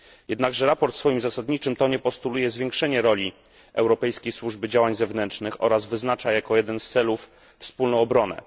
Jednakże sprawozdanie w swoim zasadniczym tonie postuluje zwiększenie roli Europejskiej Służby Działań Zewnętrznych oraz wyznacza jako jeden z celów wspólną obronę.